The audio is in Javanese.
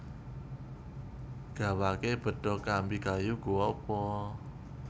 Gawake bedog kambi kayu Go apa